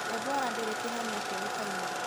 Ebola ndĩrĩ kĩhonia kĩũikaine.